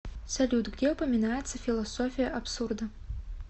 салют где упоминается философия абсурда